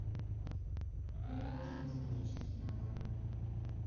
мне нужен косметический набор